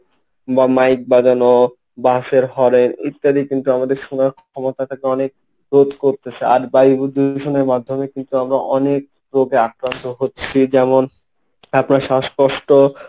বা মাইক বাজানো বাসের হরেন ইত্যাদি কিন্তু আমাদের শোনার ক্ষমতাটাকে অনেক রোধ করতেছে আর বায়ু দূষণের মাধ্যমে কিন্তু আমরা অনেক রোগে আক্রান্ত হচ্ছি যেমন আপনার শ্বাসকষ্ট।